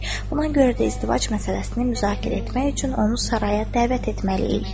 Buna görə də izdivac məsələsini müzakirə etmək üçün onu saraya dəvət etməliyik.